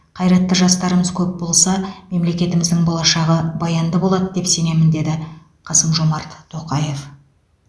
қайратты жастарымыз көп болса мемлекетіміздің болашағы баянды болады деп сенемін деді қасым жомарт тоқаев